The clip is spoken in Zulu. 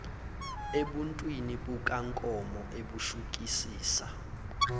ebuntwini bukankomo ebushukisisa